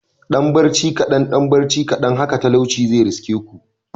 Dan barci kadan dan barci kadan haka talauci zai riske ku